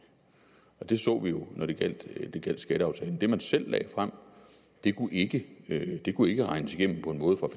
det så vi jo da det gjaldt skatteaftalen det man selv lagde frem ikke kunne regnes igennem på en måde fra